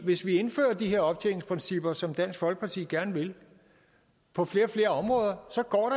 hvis vi indfører de her optjeningsprincipper som dansk folkeparti gerne vil på flere og flere områder så går